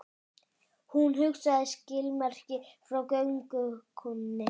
Hún sagði skilmerkilega frá göngukonunni.